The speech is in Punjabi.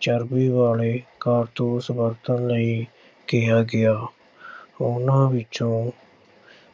ਚਰਬੀ ਵਾਲੇ ਕਾਰਤੂਸ ਵਰਤਣ ਲਈ ਕਿਹਾ ਗਿਆ। ਉਨ੍ਹਾਂ ਵਿੱਚੋਂ